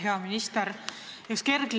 Hea minister!